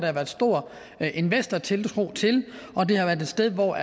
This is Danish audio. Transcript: har været stor investortiltro til og det har været et sted hvor